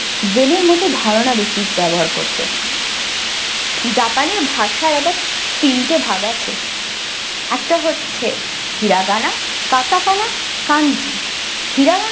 brain এর মতো ধারণা বেশি ব্যাবহার করতো japan এর ভাষার আবার তিন ভাগ আছে একটা হচ্ছে hiragana katakana kanji hiragana ।